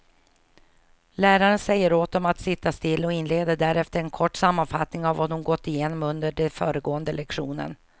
Läraren säger åt dem att sitta still och inleder därefter en kort sammanfattning av vad hon gått igenom under den föregående lektionen.